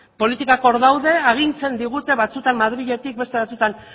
politikak hor daude agintzen digute batzuetan madriletik eta beste batzuetan